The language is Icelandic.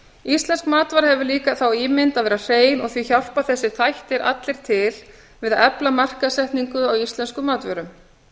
íslensk matvara hefur líka þá ímynd að vera hrein og því hjálpa þessir þættir allir til við að efla markaðssetningu á íslenskum matvörum